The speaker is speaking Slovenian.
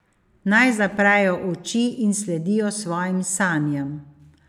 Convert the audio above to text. Naj zaprejo uči in sledijo svojim sanjam.